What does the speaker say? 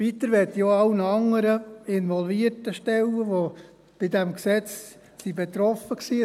Weiter möchte ich auch allen anderen involvierten Stellen, die bei diesem Gesetz betroffen waren, danken.